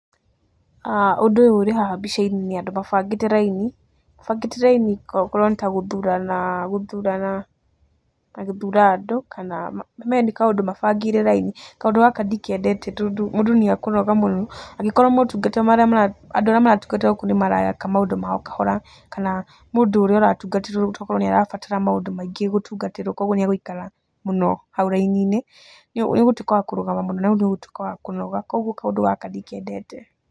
Ũndũ ũyũ ũrĩ haha mbica-inĩ nĩ andũ mabangĩte raini, mabangĩte raini korwo nĩ ta gũthurana, gũthurana ta gũthura andũ kana, ũmenye nĩ kaũndũ mabangĩire raini. Kaundũ gaka ndikendete, tondũ mũndũ nĩekũnoga mũno, angĩkorwo motungata marĩa mara, andũ arĩa maratungata gũkũ nĩ mareka maũndũ mao kahora, kana mũndũ ũrĩa ũratungatĩrwo tokorwo nĩ arabatara maũndũ maingĩ gũtungatĩrwo kogwo nĩ egũikara mũno hau raini-inĩ, nĩũgũtuĩka wa kũrũgama mũno na nĩ ũgũtuĩka wa kũnoga, kogwo kaũndũ gaka ndikendete.